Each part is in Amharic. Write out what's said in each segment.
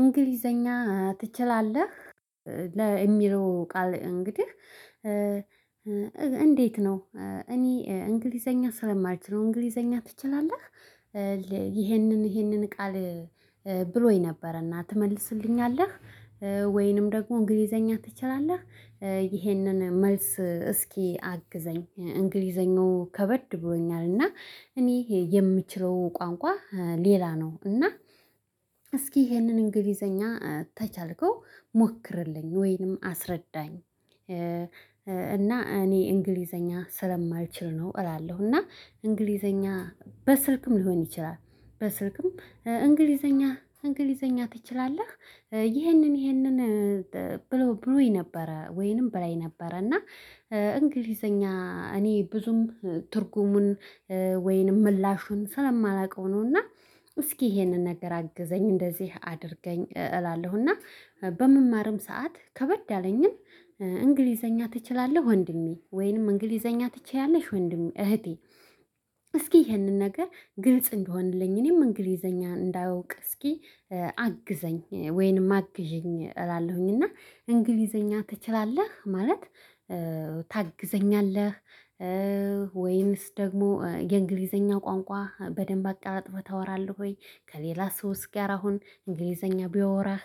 እንግሊዘኛ ትችላለህ? ለሚለው ቃል እንግዲህ እንዴት ነው እኔ እንግሊዘኛ ስለማልችለው እንግሊዘኛ ትችላለህ ይሄንን ይህንን ቃል ብሎኝ ነበረና ትመልስልኛለህ? ወይንም ደግሞ እንግሊዘኛ ትችላለህ? ይህንን መልስ እስኪ አግዘኝ እንግሊዘኛው ከበድ ብሎኛል እና እኔ የምችለው ቋንቋ ሌላ ነው። እና እስኪ ይሄንን እንግሊዘኛ ተቻልከው ሞክርልኝ ወይንም አስረዳኝ። እና እኔ እንግሊዘኛ ስለማልችል ነው። እላለሁ እና እንግሊዘኛ በስልክም ሊሆን ይችላል በስልክም በስልክም እንግሊዘኛ እንግሊዘኛ ትችላለህ? ይህንን ይህንን ብሎ ብሎኝ ነበረ ወይንም በላይ ነበረ። እና እንግሊዘኛ እኔ ብዙም ትርጉሙን ወይንም ምላሹን ስለማላውቀው ነውና እስኪ ይሄንን ነገር አግዘኝ እንደዚህ አድርገኝ እላለሁ። እና በምማርም ሰዓት ከበድ ያለኝን እንግሊዘኛ ትችላለህ ወንድሜ ወይንም እንግሊዘኛ ትችያለሽ ወንድሜ እህቴ። እስኪ ይሄንን ነገር ግልጽ እንደሆንልኝ እኔም እንግሊዘኛ እንዳውቅ እስኪ አግዘኝ ወይንም አግዢኝ እላለሁኝ። እና እንግሊዘኛ ትችላለህ ማለት ታግዘኛለህ? ወይስ ደግሞ የእንግሊዘኛ ቋንቋ በደንብ አቃላጥፈህ ታወራለህ? ወይ ከሌላ ሰው ጋር ስሁን እንግሊዘኛ ቢያወራህ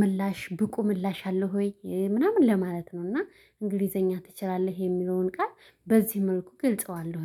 ምላሽ ብቁ ምላሽ አለህ ወይ ምናምን ለማለት ነው? እና እንግሊዘኛ ትችላለህ የሚለውን ቃል በዚህ መልኩ ግልጸዋለሁኝ።